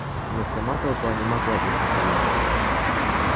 но сама толпа не могла вызвать улыбки